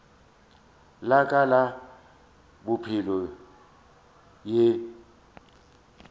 la ka la bophelo e